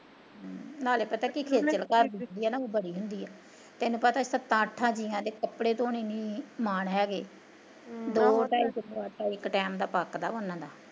ਨਾਲੇ ਪਤਾ ਕੀ ਖੇਚਲ ਘਰ ਦੀ ਹੁੰਦੀ ਐ ਨਾ ਬੜੀ ਹੁੰਦੀ ਐ ਤੈਨੂੰ ਪਤਾ ਸੱਤਾ ਅੱਠਾ ਜੀਆ ਦੇ ਕੱਪੜੇ ਧੋਣੇ ਨੀ ਮਾਨ ਹੈਗੇ ਹਮ ਦੋ ਢਾਈ ਕਿਲੋ ਆਟਾ ਇੱਕ ਟੈਮ ਦਾ ਪਕਦਾ ਵਾ ਉਹਨਾਂ ਦਾ